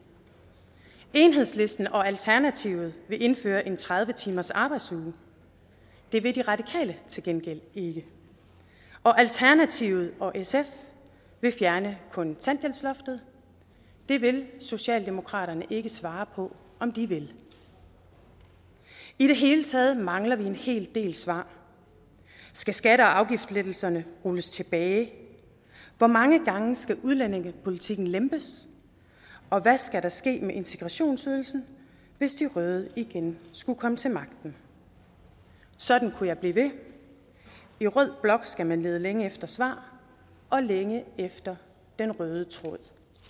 enhedslisten og alternativet vil indføre en tredive timers arbejdsuge det vil de radikale til gengæld ikke og alternativet og sf vil fjerne kontanthjælpsloftet det vil socialdemokraterne ikke svare på om de vil i det hele taget mangler vi en hel del svar skal skatte og afgiftslettelserne rulles tilbage hvor mange gange skal udlændingepolitikken lempes og hvad skal der ske med integrationsydelsen hvis de røde igen skulle komme til magten sådan kunne jeg blive ved i rød blok skal man lede længe efter svar og længe efter den røde tråd